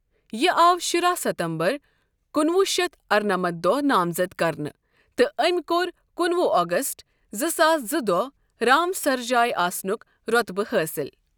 یہِ آو شُراہ ستمبر کُنہٕ وُہ شتھ ارٕنمتھ دوہ نامزد كرنہٕ تہٕ أمۍ كو٘ر کُنہٕ وُہ اگست زٕ ساس زٕ دوہ رام سر جاے آسنٗك روطبہٕ حٲصِل ۔